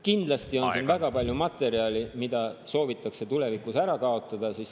Kindlasti on siin väga palju materjali, mida soovitakse tulevikus ära kaotada.